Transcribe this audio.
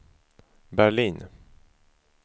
Berlin